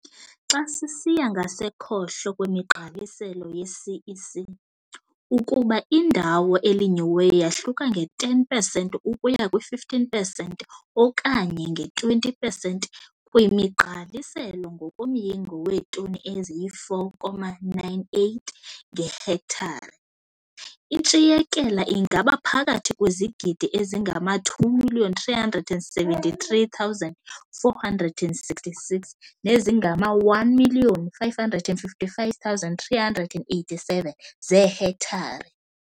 Xa sisiya ngasekhohlo kwemigqaliselo yeCEC, ukuba indawo elinyiweyo yahluka nge-10 pesenti ukuya kwi-15 pesenti okanye nge -20 pesenti kwimigqaliselo ngokomyinge weetoni eziyi-4,98 ngehektare, intshiyekela ingaba phakathi kwezigidi ezingama-2 373 466 nezingama-1 555 387 zeehektare.